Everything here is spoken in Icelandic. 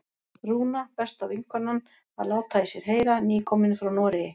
Rúna, besta vinkonan, að láta í sér heyra, nýkomin frá Noregi!